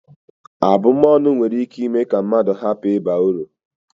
Abụm ọnụ nwere ike ime ka mmadụ hapụ ịba ị uru